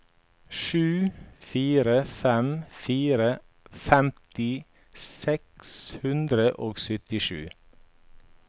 sju fire fem fire femti seks hundre og syttisju